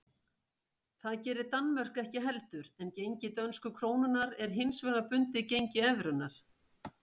Það gerir Danmörk ekki heldur en gengi dönsku krónunnar er hins vegar bundið gengi evrunnar.